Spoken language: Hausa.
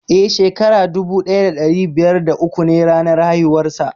Eh, shekara dubu daya dari biyar da uku ne ranar haihuwar sa.